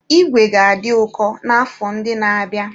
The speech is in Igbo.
Ìgwè ga-adị ụkọ n'afọ ndị na-abịa.